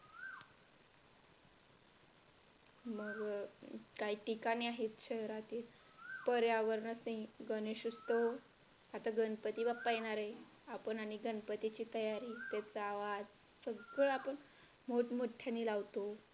मग काही ठिकाणी आहेत शहरातील पर्यावरण स्नेही गणेश उत्सव आता गणपती बाप्पा येणार आहेत आपण आणि गणपतीची तयारी त्याचा आवाज सगळा पण मोठ्याने लावतो.